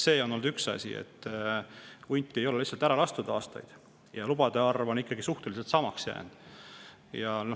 See on olnud üks: hunte ei ole lihtsalt aastaid lastud ja lubade arv on jäänud suhteliselt samaks.